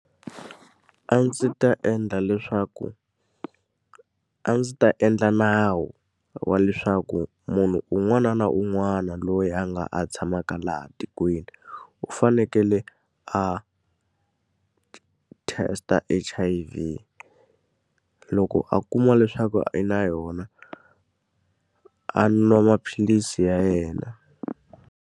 A ndzi ta endla leswaku a ndzi ta endla nawu wa leswaku munhu un'wana na un'wana loyi a nga a tshamaka laha tikweni, u fanekele khale a test-a H_I_V. Loko a kuma leswaku i na yona, a nwa maphilisi ya yena.